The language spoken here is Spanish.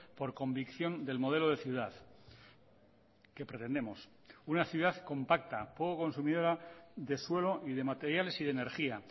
por convicción del modelo de ciudad que pretendemos una ciudad compacta poco consumidora de suelo y de materiales y de energía